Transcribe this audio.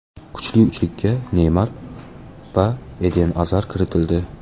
Kuchli uchlikka Neymar va Eden Azar kiritildi.